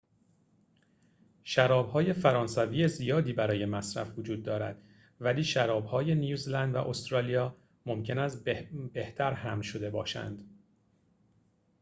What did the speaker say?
شراب‌های فرانسوی زیادی برای مصرف وجود دارد ولی شراب‌های نیوزلند و استرالیا ممکن است بهتر حمل شده باشند